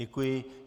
Děkuji.